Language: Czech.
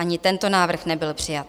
Ani tento návrh nebyl přijat.